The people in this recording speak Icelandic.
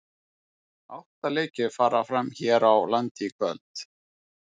Átta leikir fara fram hér á landi í kvöld.